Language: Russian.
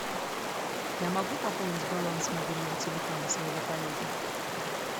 я могу пополнить баланс мобильного телефона своего коллеги